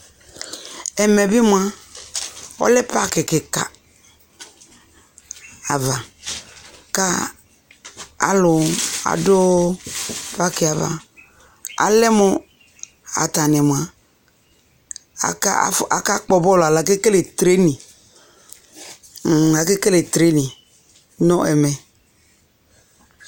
Ɛmɛ bι mʋa, ɔlɛ paakι kιka ava ka alʋ dʋ paakι yɛ avaAlɛ mʋ atani mʋa aka kpɔ bɔl alo ake kele treniŋ, hmmmakekele treniŋ nʋ ɛmɛ